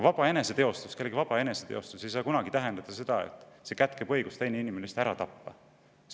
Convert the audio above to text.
Vaba eneseteostus ei saa kunagi tähendada seda, et see kätkeb endas õigust teine inimene, süütu inimene ära tappa.